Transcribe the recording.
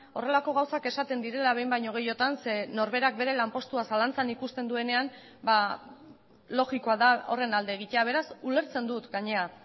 horrelako gauzak esaten direla behin baino gehiagotan ze norberak bere lanpostua zalantzan ikusten duenean ba logikoa da horren alde egitea beraz ulertzen dut gainera